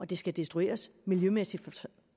det skal destrueres miljømæssigt